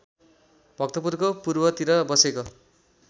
भक्तपुरको पूर्वतिर बसेको